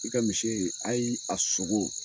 I ka misi a sogo